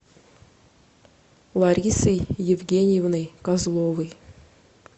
ларисой евгеньевной козловой